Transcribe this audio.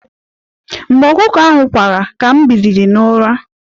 Mgbe ọkụkọ ahụ kwara, ka m biliri n'ụra.